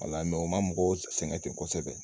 Wala u ma mɔgɔw sɛŋɛ ten kosɛbɛ